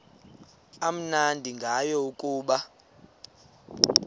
amnandi ngayo kukuba